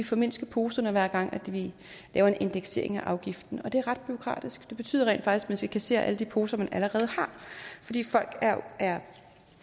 formindske poserne hver gang vi laver en indeksering af afgiften og det er ret bureaukratisk det betyder rent faktisk at man skal kassere alle de poser man allerede har fordi folk